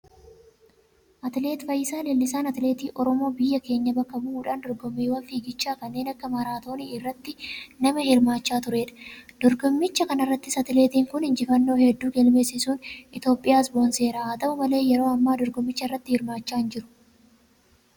Atileet fayyisaa leellisaan atileetii Oromoo biyya keenya bakka bu'uudhan dorgommiiwwan figichaa kanneen akka maraatoonii irratti nama hirmaachaa tureedha. Dorgommicha kanarrattis atileettiin kun injifannoo hedduu galmeessisuun Itiyoophiyaas boonseera. Haata'u malee yeroo ammaa dorgommicharratti hirmaachaa hinjiru.